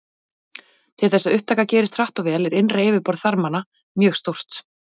Til þess að upptaka gerist hratt og vel er innra yfirborð þarmanna mjög stórt.